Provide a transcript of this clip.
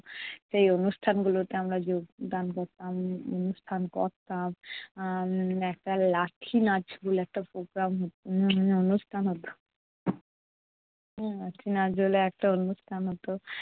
সেই অনুষ্ঠানগুলোতে আমরা যোগদান করতাম উম অনুষ্ঠান করতাম উম একটা লাঠি নাচ বলে একটা programme হ~ উম অনুষ্ঠান হতো লাঠি নাচ বলে একটা অনুষ্ঠান হতো।